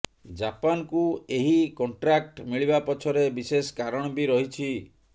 ଜାପାନକୁ ଏହି କଂଟ୍ରାକ୍ଟ ମିଳିବା ପଛରେ ବିଶେଷ କାରଣ ବି ରହିଛି